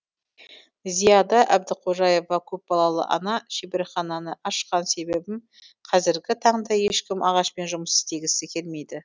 зияда әбдіқожаева көпбалалы ана шеберхананы ашқан себебім қазіргі таңда ешкім ағашпен жұмыс істегісі келмейді